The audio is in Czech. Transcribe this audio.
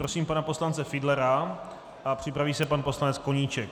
Prosím pana poslance Fiedlera a připraví se pan poslanec Koníček.